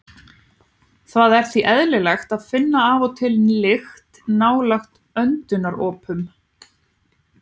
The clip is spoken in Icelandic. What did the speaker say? Það er því eðlilegt að finna af og til lykt nálægt öndunaropunum.